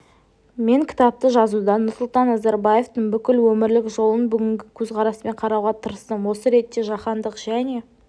мен кітапты жазуда нұрсұлтан назарбаевтың бүкіл өмірлік жолын бүгінгі көзқараспен қарауға тырыстым осы ретте жаһандық және